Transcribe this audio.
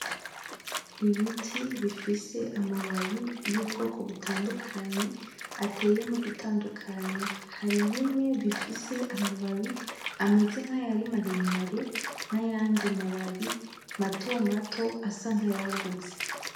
Ibiti bifise amababi y'ubwoko butandukanye ateye n'ugutandukanye, hari bimwe bifise amababi ameze nk'ayari maremare n'ayandi mababi matomato asa nk'ayagutse.